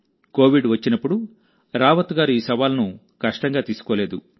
Covid వచ్చినప్పుడురావత్ గారు ఈ సవాలును కష్టంగా తీసుకోలేదు